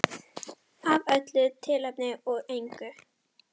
Af öllu tilefni og engu.